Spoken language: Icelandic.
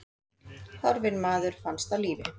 Horfinn maður finnst á lífi